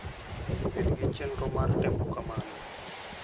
Bed gi chenro mar timo kamano.